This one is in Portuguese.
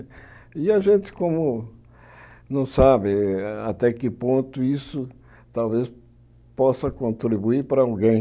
E a gente como não sabe até que ponto isso talvez possa contribuir para alguém.